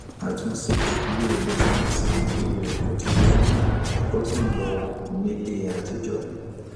àtúnṣe iléìwé tí wọn ṣe ìlérí rẹ kò tíì bẹrẹ ẹkọ sì ń lọ ní ilé àtijọ